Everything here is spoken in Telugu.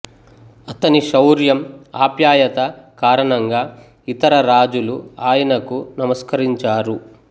అతని శౌర్యం ఆప్యాయత కారణంగా ఇతర రాజులు ఆయనకు నమస్కరించారు